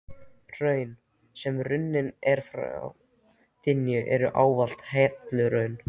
Hraun, sem runnin eru frá dyngjum, eru ávallt helluhraun.